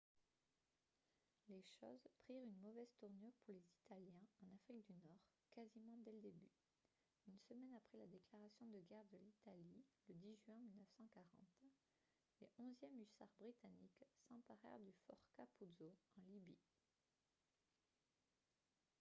les choses prirent une mauvaise tournure pour les italiens en afrique du nord quasiment dès le début une semaine après la déclaration de guerre de l'italie le 10 juin 1940 les 11e hussards britanniques s'emparèrent du fort capuzzo en libye